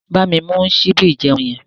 Bámi mú síbí ìjeun yẹn.